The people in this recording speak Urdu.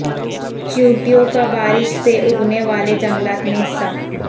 چیونٹیوں کا بارش سے اگنے والے جنگلات میں حصہ